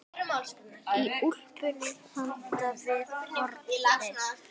Í úlpunni handan við hornið.